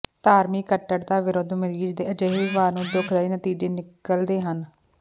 ਧਾਰਮਿਕ ਕੱਟੜਤਾ ਵਿਰੁੱਧ ਮਰੀਜ਼ ਦੇ ਅਜਿਹੇ ਵਿਵਹਾਰ ਨੂੰ ਦੁਖਦਾਈ ਨਤੀਜੇ ਨਿਕਲਦੇ ਹਨ